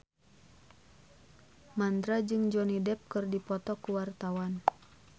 Mandra jeung Johnny Depp keur dipoto ku wartawan